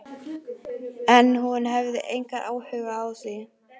En hún hefur engan áhuga á því.